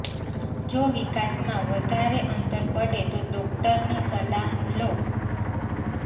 જો વિકાસમાં વધારે અંતર પડે તો ડોક્ટરની સલાહ લો